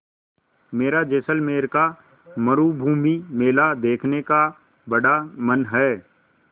मेरा जैसलमेर का मरूभूमि मेला देखने का बड़ा मन है